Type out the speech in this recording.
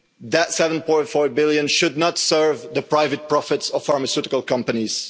billion. That 7.4 billion should not serve the private profits of pharmaceutical